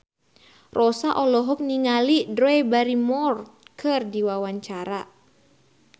Rossa olohok ningali Drew Barrymore keur diwawancara